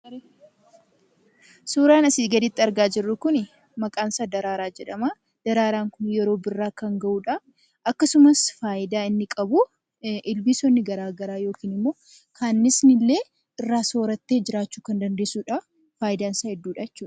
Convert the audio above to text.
Suuraan asii gaditti argaa jirru kun maqaan isaa daraaraa jedhama. Daraaraan kun yeroo birraa kan ga'uudha. Akkasumas faayidaan inni qabu ilbiisonni garaa garaa yookiin ammoo kannisni illee irraa soorattee jiraachuu dandeessuudha. Faayidaan isaa hedduudha jechuudha.